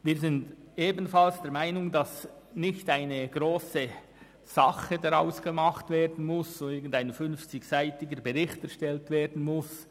Wir sind ebenfalls der Meinung, es solle nicht viel Aufhebens daraus gemacht werden, damit nicht irgendein 50-seitiger Bericht erstellt werden muss.